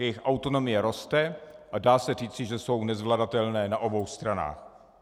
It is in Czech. Jejich autonomie roste a dá se říci, že jsou nezvladatelné na obou stranách.